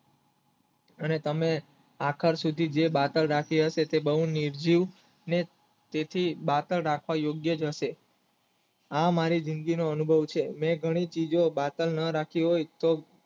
અને તમે આકાર સુધી જે બાતલ રાખી હશે તે બહુ નિર્જીવ ને તેથી બાતલ રાખવા યોગ્ય જ હશે આ મારી જિંદગીનો અનુભવ છે ને ઘણું ચિજો બાતલ ન રાખી હોય